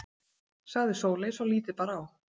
sagði Sóley svo lítið bar á.